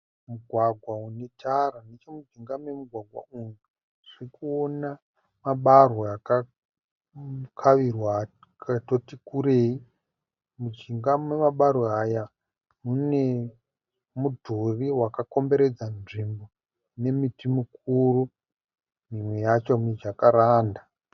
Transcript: Mugwagwa unetara. Nechemujinga memugwagwa uyu tirikuona mabarwe akakavirwa atoti kurei. Mujinga memebarwe aya mune mudhuri wakakomberedza nzvimbo nemiti mikuru imwe yacho mijakaranda.